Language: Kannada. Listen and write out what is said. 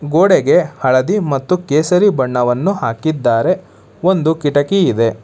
ಗೋಡೆಗೆ ಹಳದಿ ಮತ್ತು ಕೇಸರಿ ಬಣ್ಣವನ್ನು ಹಾಕಿದ್ದಾರೆ ಒಂದು ಕಿಟಕಿ ಇದೆ.